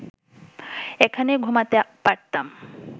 এখানে ঘুমাতে পারতাম